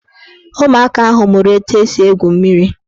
Ụmụaka ahụ mụrụ etu esi egwu mmiri